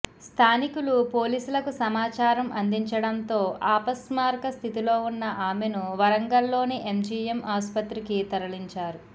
స్థానికులు పోలీసులకు సమాచారం అందించడంతో అపస్మారకస్థితిలో ఉన్న ఆమెను వరంగల్లోని ఎంజీఎం ఆసుపత్రికి తరలించారు